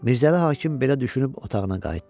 Mirzəli hakim belə düşünüb otağına qayıtdı.